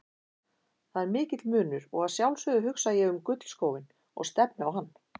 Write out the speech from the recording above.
Það er mikill munur og að sjálfsögðu hugsa ég um gullskóinn og stefni á hann.